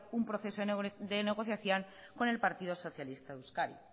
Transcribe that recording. un proceso de negociación con el partido socialista de euskadi